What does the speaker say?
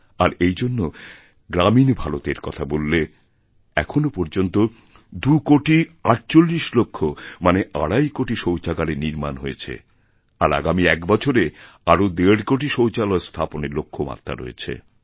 আর এই জন্য গ্রামীন ভারতের কথা বললে এখনও পর্যন্তদুকোটি আটচল্লিশ লক্ষ মানে প্রায় আড়াই কোটি শৌচাগারের নির্মাণ হয়েছে আর আগামী একবছরে আরও দেড় কোটি শৌচালয় স্থাপনের লক্ষ্যমাত্রা রয়েছে